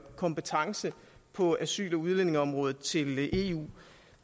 kompetence på asyl og udlændingeområdet til eu